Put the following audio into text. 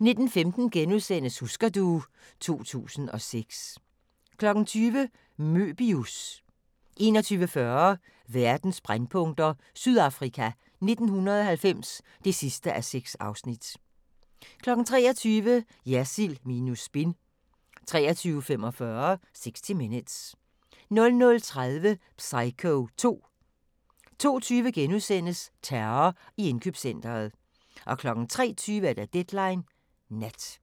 19:15: Husker du ... 2006 * 20:00: Möbius 21:40: Verdens brændpunkter: Sydafrika 1990 (6:6) 23:00: Jersild minus spin 23:45: 60 Minutes 00:30: Psycho II 02:20: Terror i indkøbscentret * 03:20: Deadline Nat